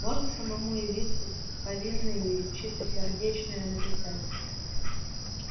можно самому явиться с повинной и чистосердечное написать